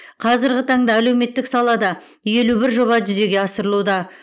қазіргі таңда әлеуметтік салада елу бір жоба жүзеге асырылуда